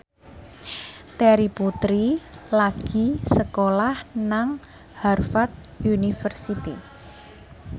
Terry Putri lagi sekolah nang Harvard university